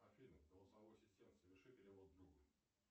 афина голосовой ассистент соверши перевод другу